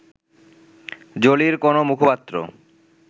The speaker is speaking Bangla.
জোলির কোনো মুখপাত্র